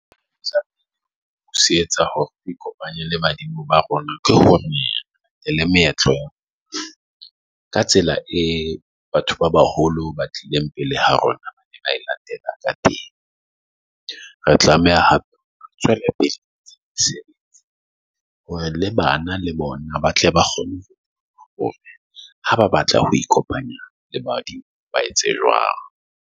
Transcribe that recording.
C Etsa hore ikopanye le badimo ba rona ke hore, leleme ka tsela e batho ba baholo ba tlileng pele ha rona latela ka teng, re tlameha hape tswele pele hore le bana le bona ba tle ba kgone hore ha ba batla ho ikopanya le badimo ba etse jwang.